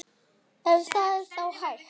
Ef það er þá hægt.